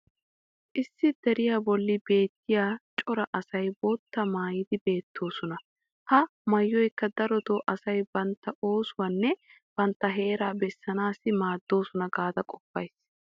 issi deriyaa boli beettiya cora asay boottaa maayidi beetoosona. ha maayoykka darotoo asay bantta oosuwanne bantta heeraa bessanaassi maadoosona gaada qopays.